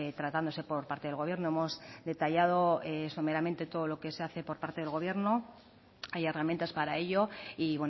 tratándose por parte del gobierno hemos detallado someramente todo lo que se hace por parte del gobierno hay herramientas para ello y